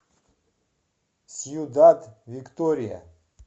сьюдад виктория